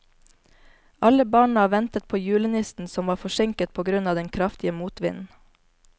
Alle barna ventet på julenissen, som var forsinket på grunn av den kraftige motvinden.